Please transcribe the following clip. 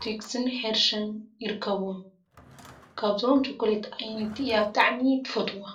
ትዊክስን ሄርሺን ይርከብዎም። ካብዞም ቸኮሌት ኣየነይቲ እያ ብጣዕሚ ትፈትዎም?